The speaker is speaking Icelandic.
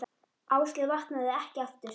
Áslaug vaknaði ekki aftur.